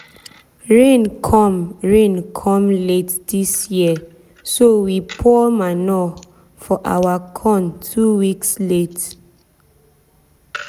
rain come rain come late this year so we pour manure for our corn two weeks late.